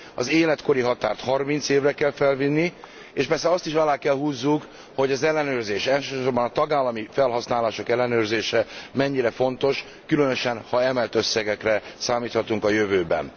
Az életkori határt 30 évre kell felvinni, és persze azt is alá kell húznunk, hogy az ellenőrzés elsősorban a tagállami felhasználások ellenőrzése mennyire fontos, különösen, ha emelt összegekre számíthatunk a jövőben.